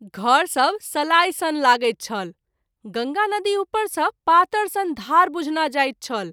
घर सभ सलाई सन लागैत छल गंगा नदी उपर सँ पातर सन धार बुझना जाइत छल।